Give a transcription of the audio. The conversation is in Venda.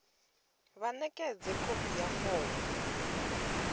vha ṋekedze khophi ya fomo